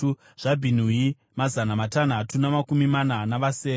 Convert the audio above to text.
zvaBhinui, mazana matanhatu namakumi mana navasere;